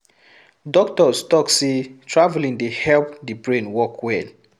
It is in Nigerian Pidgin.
Doctors talk sey traveling dey help the brain work well